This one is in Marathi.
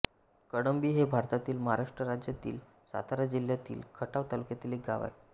कळंबी हे भारतातील महाराष्ट्र राज्यातील सातारा जिल्ह्यातील खटाव तालुक्यातील एक गाव आहे